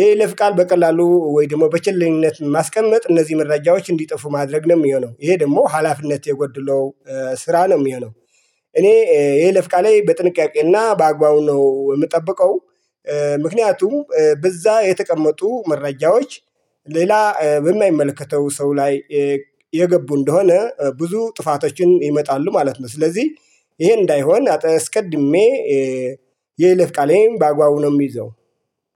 የይለፍ ቃል በቀላሉ ወይ ደግሞ በችልኝነት ማስቀመጥ እነዚህ መረጃዎች እንዲጠፉ ማድረግ ነው የሚሆነው ይሄ ደግሞ ሀላፊነት የጎድለው ስራ ነው የሚሆነው። እኔ የይለፍ ቃሌ በጥንቃቄና በአግባቡ ነው የምጠብቀው። ምክንያቱም በዛ የተቀመጡ መረጃዎች ሌላ በማይመለከተው ሰው ላይ የገቡ እንደሆነ ብዙ ጥፋቶችን ይመጣሉ ማለት ነው። ስለዚህ ይሄ እንዳይሆን አትስቀድሜ። የይለፍ ቃሌ በአግባቡ ነው የሚይዘው